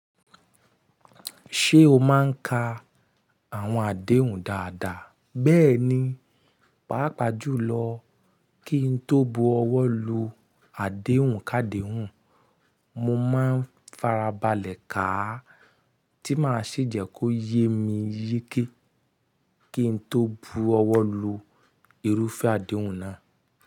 Ṣé o máa ń ka àwọn àdéhùn dáadáa? Bẹ́ẹ̀ni, pàápàá jùlọ kí n tó bu ọwọ́ lu àdéhùn káde hun, mo máa ń farabalẹ̀ ká a, tí máa sì jẹ́ kó yé mi yeke kí n tó bu ọwọ́ lu irúfẹ́ àdéhùn náà.